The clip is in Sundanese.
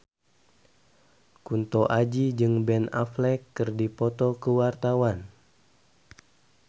Kunto Aji jeung Ben Affleck keur dipoto ku wartawan